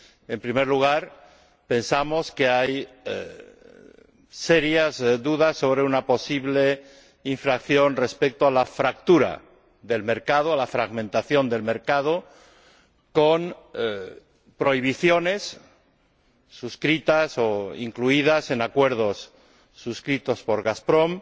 En primer lugar, pensamos que hay serias dudas sobre una posible infracción respecto de la fractura del mercado, la fragmentación del mercado, con prohibiciones suscritas o incluidas en acuerdos celebrados por Gazprom